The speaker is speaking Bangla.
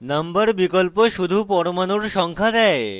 number বিকল্প শুধুমাত্র পরমাণুর সংখ্যা দেয়